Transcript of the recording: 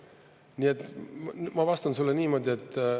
Nii et ma vastan sulle niimoodi.